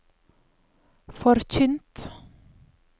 forkynt